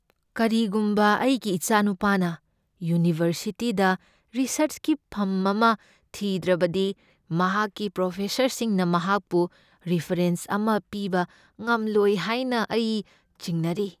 ꯀꯔꯤꯒꯨꯝꯕ ꯑꯩꯒꯤ ꯏꯆꯥꯅꯨꯄꯥꯅ ꯌꯨꯅꯤꯚꯔꯁꯤꯇꯤꯗ ꯔꯤꯁꯔꯆꯀꯤ ꯐꯝ ꯑꯃ ꯊꯤꯗ꯭ꯔꯕꯗꯤ, ꯃꯍꯥꯛꯀꯤ ꯄ꯭ꯔꯣꯐꯦꯁꯔꯁꯤꯡꯅ ꯃꯍꯥꯛꯄꯨ ꯔꯤꯐꯔꯦꯟꯁ ꯑꯃ ꯄꯤꯕ ꯉꯝꯂꯣꯏ ꯍꯥꯏꯅ ꯑꯩ ꯆꯤꯡꯅꯔꯤ꯫